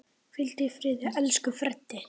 Hvíldu í friði, elsku Freddi.